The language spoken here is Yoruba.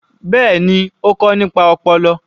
Bẹ́ẹ̀ni, ó kọ nípa ọpọlọ.